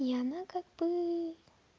и она как бы